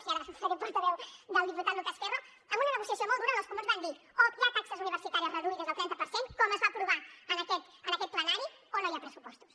i ara faré de portaveu del diputat lucas ferro amb una negociació molt dura on els comuns van dir o hi ha taxes reduïdes del trenta per cent com es va aprovar en aquest plenari o no hi ha pressupostos